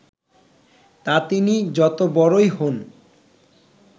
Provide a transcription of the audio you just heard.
তা তিনি যত বড়ই হোন